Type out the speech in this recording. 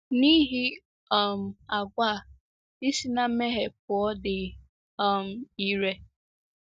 N’ihi um àgwà a, ị si na mmehie pụọ dị um ire.